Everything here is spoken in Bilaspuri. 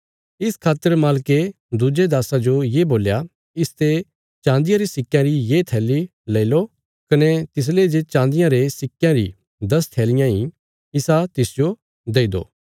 इस खातर मालके दुज्जे दास्सा जो ये बोल्या इसते चान्दिया रे सिक्कयां री ये थैली लेई लो कने तिसले जे चान्दिया रे सिक्कयां री दस थैलियां इ इसा तिसजो देई दो